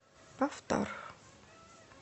повтор